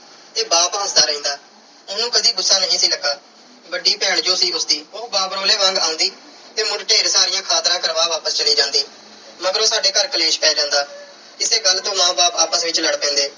ਤੇ ਬਾਪ ਹੱਸਦਾ ਰਹਿੰਦਾ। ਉਹਨੂੰ ਕਦੇ ਗੁੱਸਾ ਨਹੀਂ ਸੀ ਲੱਗਾ। ਵੱਡੀ ਭੈਣ ਜੋ ਸੀ ਉਸਦੀ। ਉਹ ਬਾਬਰੋਲੇ ਵਾਂਗ ਆਉਂਦੀ ਤੇ ਮੁੜ ਢੇਰ ਸਾਰੀਆਂ ਖਾਤਰਾਂ ਕਰਵਾ ਵਾਪਸ ਚੱਲੀ ਜਾਂਦੀ। ਮਗਰੋਂ ਸਾਡੇ ਘਰ ਕਲੇਸ਼ ਪੈ ਜਾਂਦਾ। ਇਸੇ ਗੱਲ ਤੋਂ ਮਾਂ ਬਾਪ ਆਪਸ ਵਿੱਚ ਲੜ ਪੈਂਦੇ।